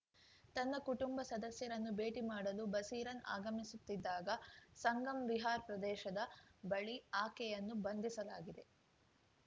ತನ್ನ ಕುಟುಂಬ ಸದಸ್ಯರನ್ನು ಭೇಟಿ ಮಾಡಲು ಬಸೀರನ್‌ ಆಗಮಿಸುತ್ತಿದ್ದಾಗ ಸಂಗಮ್‌ ವಿಹಾರ್‌ ಪ್ರದೇಶದ ಬಳಿ ಆಕೆಯನ್ನು ಬಂಧಿಸಲಾಗಿದೆ